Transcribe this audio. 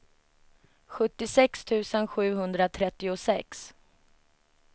sjuttiosex tusen sjuhundratrettiosex